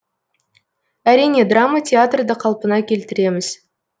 әрине драма театрды қалпына келтіреміз